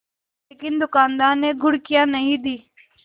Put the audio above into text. लेकिन दुकानदार ने घुड़कियाँ नहीं दीं